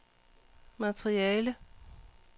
materiale